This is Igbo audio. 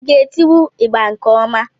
Ị ga etiwu ịgbà nke ọma?